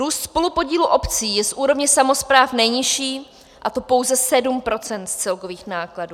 Růst spolupodílu obcí je z úrovně samospráv nejnižší, a to pouze 7 % z celkových nákladů.